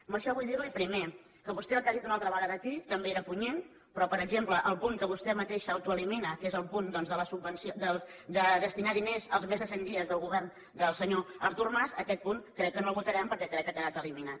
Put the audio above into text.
amb això vull dir li primer que vostè el que ha dit una altra vegada aquí també era punyent però per exemple el punt que vostè mateix autoelimina que és el punt de destinar hi diners als més de cent dies del govern del senyor artur mas aquest punt crec que no el votarem perquè crec que ha quedat eliminat